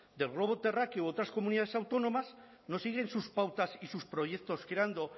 del globo terráqueo u otras comunidades autónomas no siguen sus pautas y sus proyectos creando